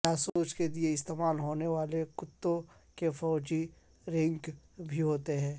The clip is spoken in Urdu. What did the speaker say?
جاسوس کے لیے استعمال ہونے والے کتوں کے فوجی رینک بھی ہوتے ہیں